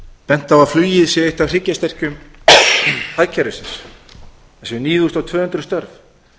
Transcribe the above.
bent á að flugið sé eitt af hryggjarstykkjum hagkerfisins það séu níu þúsund og tvö hundruð störf